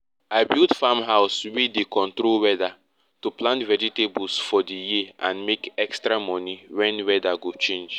i build farm house wey dey control weather to plant vegetables for di year and make extra money wen weather go change